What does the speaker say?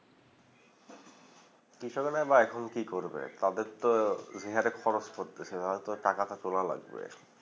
কৃষককের বা এখন কি করবে তাদের তো খরচ করতে টাকাটা তোলা লাগবে